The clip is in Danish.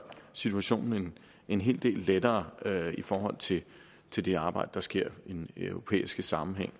situationen en hel del lettere i forhold til til det arbejde der sker i europæisk sammenhæng